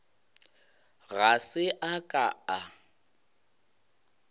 ga se a ka a